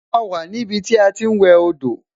A wà ní ibi tí a ti ń wẹ dò